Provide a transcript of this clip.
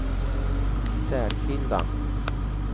särskilda